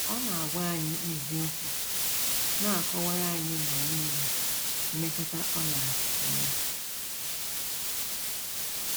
Ọ na - agwa anyị eziokwu, na - akọkwara anyị mgbe nile mmetụta ọ na -- enwe.